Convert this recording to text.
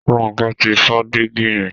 Ronke tí fọ Dígí yen.